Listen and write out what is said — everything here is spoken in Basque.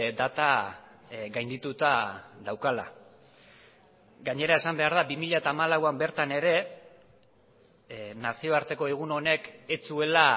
data gaindituta daukala gainera esan behar da bi mila hamalauan bertan ere nazioarteko egun honek ez zuela